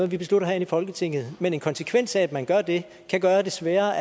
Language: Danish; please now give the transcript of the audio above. vi beslutter herinde i folketinget men en konsekvens af at man gør det kan gøre det sværere